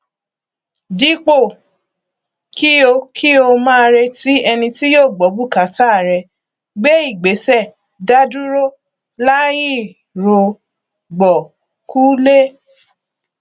dípò kí o kí o máa retí ẹni tí yóò gbọ bùkátà rẹ gbé ìgbéṣẹ dádúró láìrògbọkúlé